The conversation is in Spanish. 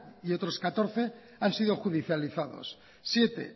y otros catorce han sido judicializados siete